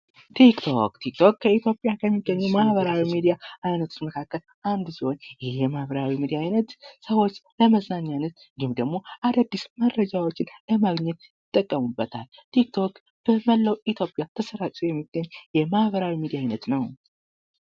ቲክቶክ በኢትዮጵያ ውስጥ ከሚገኙ ማህበራዊ ሚዲያዎች መካከል አንዱ ሲሆን ለመዝናናትና መረጃ ለማግኘት ይጠቀሙበታል ቲክቶክ በመላው የኢትዮጵያ ክፍል ተሰራጭቶ የሚገኝ የማህበራዊ ሚዲያ አይነት ነው።